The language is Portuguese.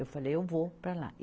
Eu falei, eu vou para lá.